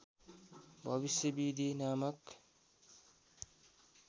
भविष्य विधि नामक